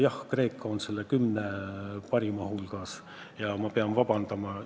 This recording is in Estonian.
Jah, Kreeka on selle kümne parima hulgas ja ma pean oma eksimuse eest vabandust paluma.